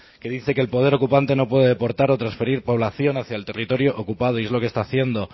que dice que el poder ocupante no puede aportar o transferir población hacia el territorio ocupado y es lo que está haciendo